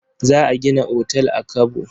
Za a gina otal a Kabo?